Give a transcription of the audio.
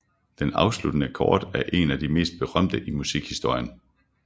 Den afsluttende akkord er en af de mest berømte i musikhistorien